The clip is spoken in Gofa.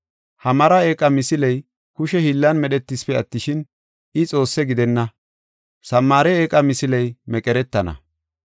Ha mara eeqa misiley kushe hiillan medhetisipe attishin, I xoosse gidenna. Samaare eeqa misiley meqeretana.